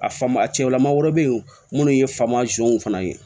A faama a cɛw lama wɛrɛ be yen munnu ye faama fana ye